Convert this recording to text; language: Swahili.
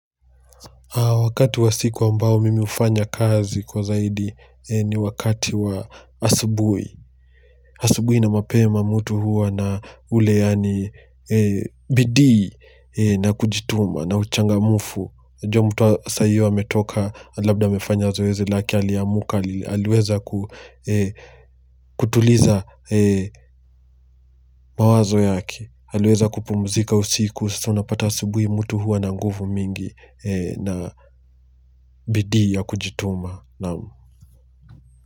Wakati wa siku ambao mimi hufanya kazi kwa zaidi ni wakati wa asubuhi. Asubuhi na mapema mtu huwa na ule yani bidii na kujituma na uchangamufu. Jua mtu saa hiyo ametoka labda amefanya zoezi lake aliamuka, aliweza kutuliza mawazo yake. Aliweza kupumzika usiku, sasa unapata asubuhi mutu huwa na nguvu mingi na bidii ya kujituma. Naam.